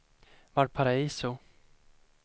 Valparaiso